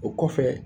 O kɔfɛ